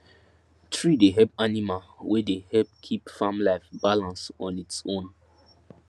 tree dey help animal wey dey help keep farm life balance on its own